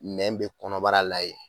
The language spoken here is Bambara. Nɛn bɛ kɔnɔbara la yen